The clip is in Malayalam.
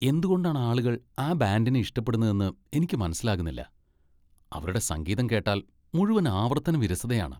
എന്തുകൊണ്ടാണ് ആളുകൾ ആ ബാൻഡിനെ ഇഷ്ടപ്പെടുന്നതെന്ന് എനിക്ക് മനസ്സിലാകുന്നില്ല. അവരുടെ സംഗീതം കേട്ടാൽ മുഴുവൻ ആവർത്തന വിരസതയാണ്.